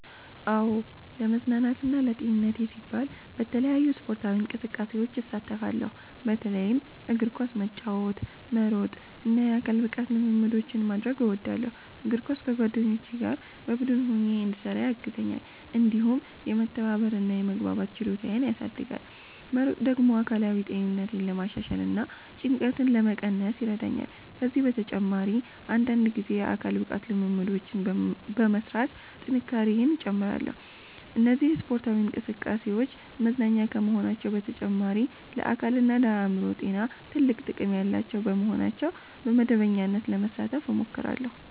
"አዎ፣ ለመዝናናትና ለጤንነቴ ሲባል በተለያዩ ስፖርታዊ እንቅስቃሴዎች እሳተፋለሁ። በተለይም እግር ኳስ መጫወት፣ መሮጥ እና የአካል ብቃት ልምምዶችን ማድረግ እወዳለሁ። እግር ኳስ ከጓደኞቼ ጋር በቡድን ሆኜ እንድሰራ ያግዘኛል፣ እንዲሁም የመተባበር እና የመግባባት ችሎታዬን ያሳድጋል። መሮጥ ደግሞ አካላዊ ጤንነቴን ለማሻሻል እና ጭንቀትን ለመቀነስ ይረዳኛል። ከዚህ በተጨማሪ አንዳንድ ጊዜ የአካል ብቃት ልምምዶችን በመሥራት ጥንካሬዬን እጨምራለሁ። እነዚህ ስፖርታዊ እንቅስቃሴዎች መዝናኛ ከመሆናቸው በተጨማሪ ለአካልና ለአእምሮ ጤና ትልቅ ጥቅም ያላቸው በመሆናቸው በመደበኛነት ለመሳተፍ እሞክራለሁ።"